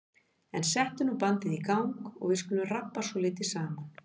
En settu nú bandið í gang og við skulum rabba svolítið saman.